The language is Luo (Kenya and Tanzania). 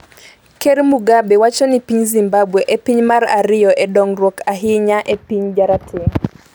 Ker Mugabe wacho ni piny Zimbabwe e piny mar ariyo e dongruok ahinya e piny jarateng'